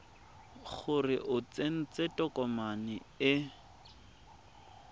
gore o tsentse tokomane e